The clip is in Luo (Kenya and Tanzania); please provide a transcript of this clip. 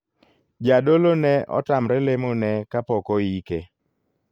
Jadolo ne otamre lemo ne kapok oike.